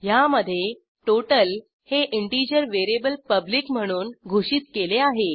ह्यामधे टोटल हे integer variable public म्हणून घोषित केले आहे